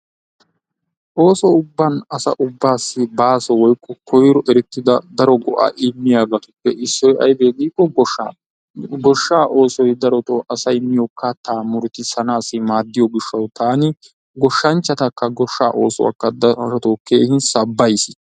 Ooso ubban asa ubbassi baaso woykko koyro erettida daro go'aa immiyaabatuppe issoy aybee giikko goshshaa. Goshshaa osoy darotoo asay miyoo kaattaa muruttisanassi maadiyoo giishshawu taani goshshanchatakka goshshaa oosuwaa darotoo keehin sabbays.